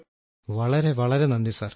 രാജേഷ് പ്രജാപതി വളരെ വളരെ നന്ദി സർ